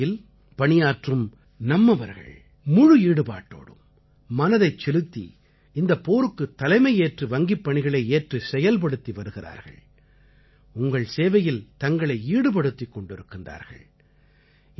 வங்கித் துறையில் பணியாற்றும் நம்மவர்கள் முழு ஈடுபாட்டோடும் மனதைச் செலுத்தி இந்தப் போருக்குத் தலைமையேற்று வங்கிப் பணிகளை ஏற்றுச் செயல்படுத்தி வருகிறார்கள் உங்கள் சேவையில் தங்களை ஈடுபடுத்திக் கொண்டிருக்கிறார்கள்